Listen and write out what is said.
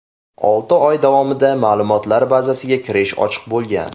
Olti oy davomida ma’lumotlar bazasiga kirish ochiq bo‘lgan.